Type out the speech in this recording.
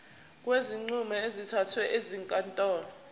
kwezinqumo ezithathwe ezinkantolo